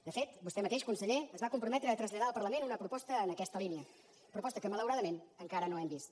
de fet vostè mateix conseller es va comprometre a traslladar al parlament una proposta en aquesta línia proposta que malauradament encara no hem vist